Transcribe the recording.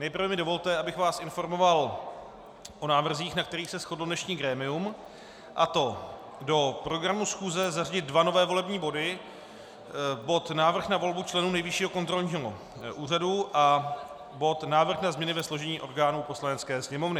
Nejprve mi dovolte, abych vás informoval o návrzích, na kterých se shodlo dnešní grémium, a to do programu schůze zařadit dva nové volební body - bod Návrh na volbu členů Nejvyššího kontrolního úřadu a bod Návrh na změny ve složení orgánů Poslanecké sněmovny.